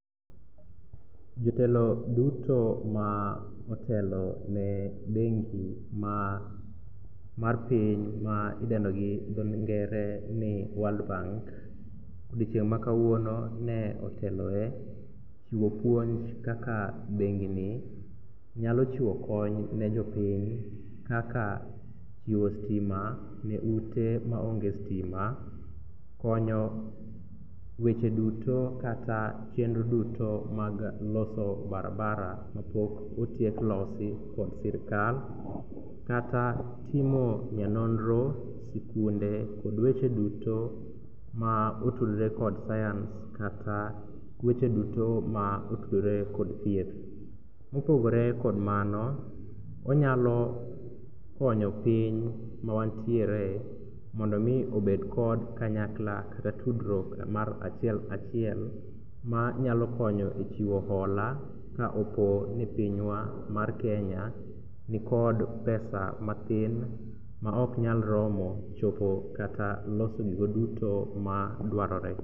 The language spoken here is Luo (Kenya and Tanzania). Jotelo duto ma otelone bengi mar piny ma idendo gi dho ngere ni world bank odiechieng' makawuono ne oteloe chiwo puonj kaka bengini nyalo chiwo kony ne jopiny kaka chiwo stima ne ute maonge stima, konyo weche duto kata chenro duto mag loso barabara mapok otiek losi kod sirikal kata timo nyanonro, sikunde kod weche duto ma otudre kod science kata weche duto ma otudore kod thieth. Mopogore kod mano, onyalo konyo piny mawantiere mondo omi obed kod kanyakla kata tudruok mar achiel kachiel manyalo konyo e chiwo hola ka opo ni pinywa mar Kenya nikod pesa mathin maoknyal romo chopo kata loso gigo duto madwarore.